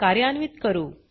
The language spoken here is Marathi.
कार्यान्वीत करू